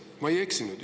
Ma ei eksinud.